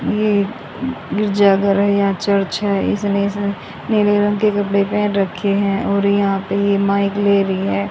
ये गिरिजाघर है यहां चर्च है इसने इसमें नीले रंग के कपड़े पहन रखे है और यहां पे ये माइक ले रही है।